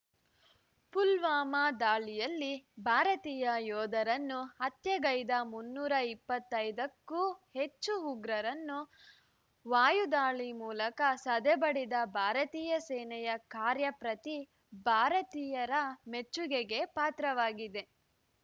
ಪುಲ್ವಾಮಾ ದಾಳಿಯಲ್ಲಿ ಭಾರತೀಯ ಯೋಧರನ್ನು ಹತ್ಯೆಗೈದ ಮುನ್ನೂರ ಇಪ್ಪತ್ತೈದಕ್ಕೂ ಹೆಚ್ಚು ಉಗ್ರರನ್ನು ವಾಯುದಾಳಿ ಮೂಲಕ ಸದೆಬಡಿದ ಭಾರತೀಯ ಸೇನೆಯ ಕಾರ್ಯ ಪ್ರತಿ ಭಾರತೀಯರ ಮೆಚ್ಚುಗೆಗೆ ಪಾತ್ರವಾಗಿದೆ